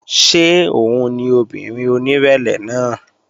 Ṣé òun ni obìnrin onírẹ̀lẹ̀ náà?